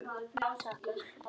Takk elsku pabbi.